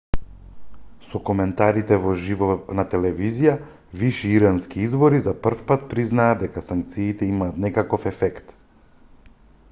со коментарите во живо на телевизија виши ирански извори за првпат признаа дека санкциите имаат некаков ефект